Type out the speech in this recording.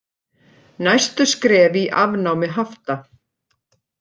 Næstu skref í afnámi hafta